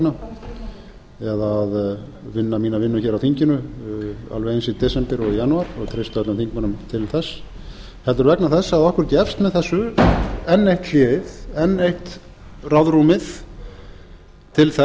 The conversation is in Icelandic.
vegna eða að vinna mína vinnu hér á þinginu alveg eins í desember og í janúar og ég treysti öllum þingmönnum til þess heldur vegna þess að okkur gefst með þessu enn eitt hléið enn eitt ráðrúmið til